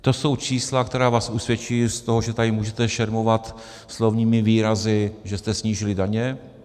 To jsou čísla, která vás usvědčují z toho, že tady můžete šermovat slovními výrazy, že jste snížili daně.